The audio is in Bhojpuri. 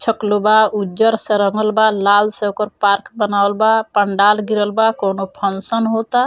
छकलो बा उज्जर से रंगल बा लाल से ओकर पार्क बनावल बा पंडाल घेरल बा कोनो फंक्शन होता।